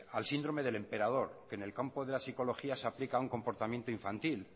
al síndrome del emperador que en el campo de la psicología se aplica un comportamiento infantil